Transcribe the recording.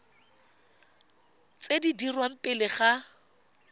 tse di dirwang pele ga